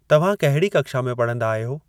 तव्हां कहिड़ी कक्षा में पढ़ंदा आहियो?